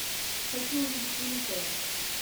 хочу увидеть великое